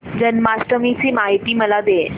जन्माष्टमी ची माहिती मला दे